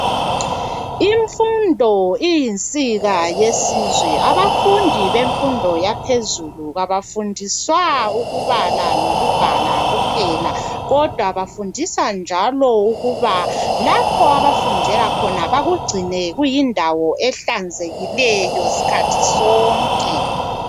Imfundo iyinsika yesizwe, abafundi bemfundo yaphezulu kabafundiswa ukubala, lokubhala kuphela, kodwa bafundiswa ukuba lapho abafundela khona bakugcine kuyindawo ehlanzekileyo sikhathi sonke.